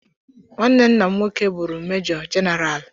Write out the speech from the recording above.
Nwanne nna nwoke bụụrụ mejọ jenaraalụ.